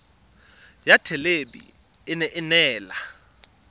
ya thelebi ene e neela